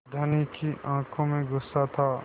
धनी की आँखों में गुस्सा था